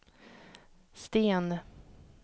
Sten